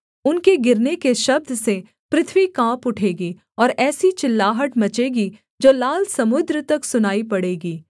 उनके गिरने के शब्द से पृथ्वी काँप उठेगी और ऐसी चिल्लाहट मचेगी जो लाल समुद्र तक सुनाई पड़ेगी